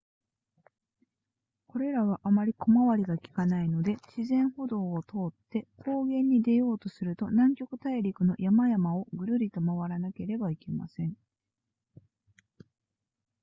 これらはあまり小回りがきかないので自然歩道を通って高原に出ようとすると南極大陸の山々をぐるりと回らなければなりません